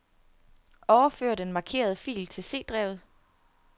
Overfør den markerede fil til C-drevet.